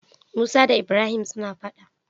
Musa da ibrahim suna faɗa